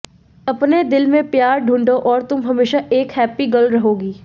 अपने दिल में प्यार ढूंढों और तुम हमेशा एक हैप्पी गर्ल रहोगी